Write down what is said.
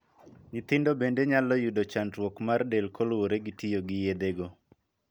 Nyithindo bende nyalo yudo chandruok mar del koluwore gi tiyo gi yedhe go.